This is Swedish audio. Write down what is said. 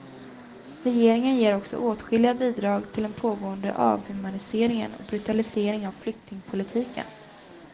Regeringen ger också åtskilliga bidrag till den pågående avhumaniseringen och brutaliseringen av flyktingpolitiken.